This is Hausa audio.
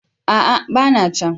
A'a! ba na can.